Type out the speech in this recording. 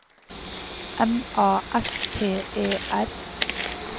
M A S T E R